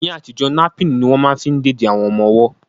Ní àtijọ́, napín ní wọ́n ma fí ń dèdí fún àwọn ọmọ ọwọ́